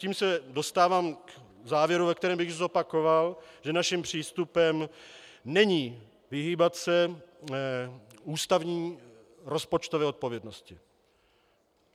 Tím se dostávám k závěru, ve kterém bych zopakoval, že naším přístupem není vyhýbat se ústavní rozpočtové odpovědnosti.